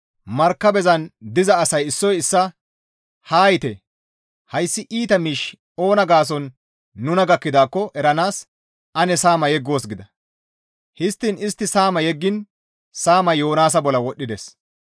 Markabezan diza asay issoy issaa, «Haa yiite! Hayssi iita miishshi oona gaason nuna gakkidaakko eranaas ane saama yeggoos» gida; histtiin istti saama yeggiin saamay Yoonaasa bolla wodhdhides.